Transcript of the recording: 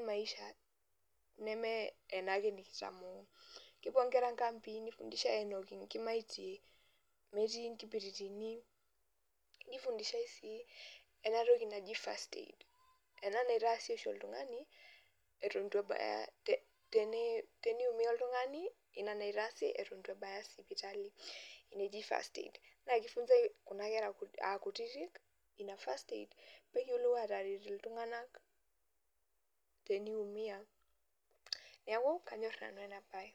maisha neme ena ake nikitamoo kepuo ingera inkambii neifundishai meinua inkimaitie metii inkibiritini neifundishai sii ena toki naji first aid ena naitaasi oshi oltung'ani eton eitu ebaya teneimuya oltung'ani eitu eton ebaya ena sipitali naji first aid naa keifunzai kuna kera aa kutitik ina first aid ore peifunsai ena netum aataret iltung'anak teneimuya neeku kanyor nanu ena baye.